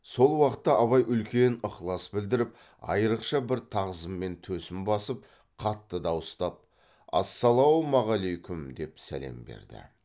сол уақытта абай үлкен ықылас білдіріп айрықша бір тағзыммен төсін басып қатты дауыстап ассалаумағалайкүм деп сәлем берді